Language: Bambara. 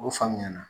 O faamuya na